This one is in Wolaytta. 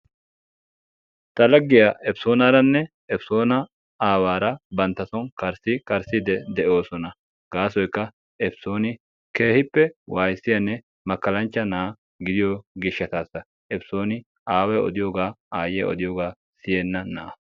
Ta laggiyaa episoonaranne episoona aawara bantta soon karikarissidi de"oosona. gasoykka episooni keehippe wayisiyaanne makkalachcha na'aa gidiyoo giishshatasaepisooni aaway odiyoogaa ayiyaa odiyoogaa siyenna na'a.